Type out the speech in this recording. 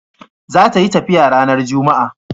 za ta yi tafiya ranar jumma'a